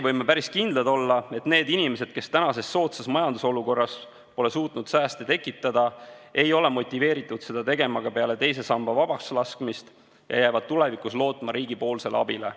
Võime päris kindlad olla, et need inimesed, kes tänases soodsas majandusolukorras pole suutnud sääste tekitada, ei ole motiveeritud seda tegema ka peale teise samba vabakslaskmist ja jäävad tulevikus lootma riigi abile.